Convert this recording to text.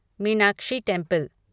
Meenakshi temple